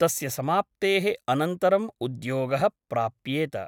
तस्य समाप्तेः अनन्तरम् उद्योगः प्राप्येत ।